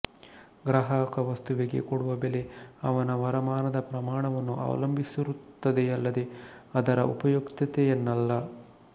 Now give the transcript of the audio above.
ಗ್ರಾಹಕವಸ್ತುವಿಗೆ ಕೊಡುವ ಬೆಲೆ ಅವನ ವರಮಾನದ ಪ್ರಮಾಣವನ್ನು ಅವಲಂಬಿಸಿರುತ್ತದೆಯಲ್ಲದೆ ಅದರ ಉಪಯುಕ್ತತೆಯನ್ನಲ್ಲ